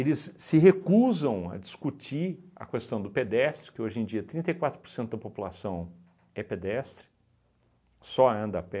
se recusam a discutir a questão do pedestre, que hoje em dia trinta e quatro por cento da população é pedestre, só anda a pé.